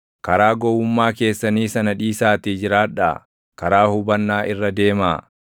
Karaa gowwummaa keessanii sana dhiisaatii jiraadhaa; karaa hubannaa irra deemaa.